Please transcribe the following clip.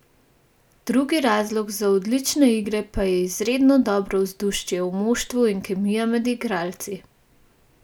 Drugi razlog za odlične igre pa je izredno dobro vzdušje v moštvu in kemija med igralci.